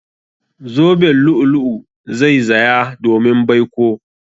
Zoben lu'ulu'u zai zaya domin baiko.